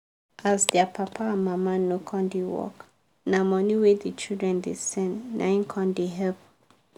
as dia papa and mama no come da work na money wey the children da send naim com da help